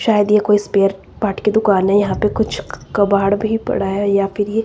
शायद ये कोई स्पेयर पार्ट की दुकान है यहां पे कुछ कबाड़ भी पड़ा है या फिर ये--